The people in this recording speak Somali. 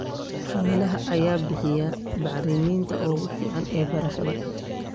Xoolaha ayaa bixiya bacriminta ugu fiican ee beerashada.